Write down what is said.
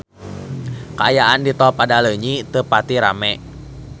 Kaayaan di Tol Padaleunyi teu pati rame